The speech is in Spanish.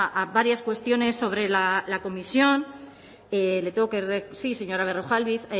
a varias cuestiones sobre la comisión le tengo que sí señora berrojalbiz